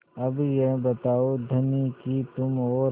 अब यह बताओ धनी कि तुम और